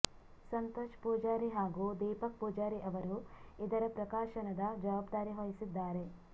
ಸಂತೋಷ್ ಪೂಜಾರಿ ಹಾಗೂ ದೀಪಕ್ ಪೂಜಾರಿ ಅವರು ಇದರ ಪ್ರಕಾಶನದ ಜವಾಬ್ದಾರಿ ವಹಿಸಿದ್ದಾರೆ